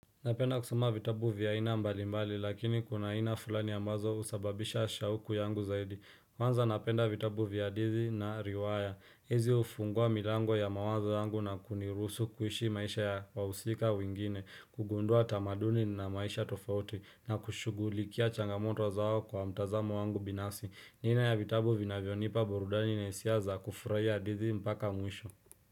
Napenda kusoma vitabu vya ina mbali mbali lakini kuna aina fulani ambazo usababisha shauku yangu zaidi Kwanza napenda vitabu vya hadithi na riwaya hizi ufungua milango ya mawazo yangu na kunirusu kuishi maisha ya wausika wengine kugundua tamaduni na maisha tofauti na kushugulikia changamoto zao kwa mtazamo wangu binafsi Nina ya vitabu vinavyonipa burudani na hisia.za kufuraia hadithi mpaka mwisho.